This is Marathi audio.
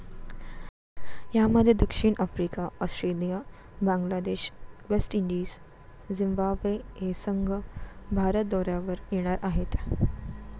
यामध्ये दक्षिण Africa, Australia, Bangladesh, West Indies, Zimbabwe हे संघ भारत दौऱ्यावर येणार आहेत.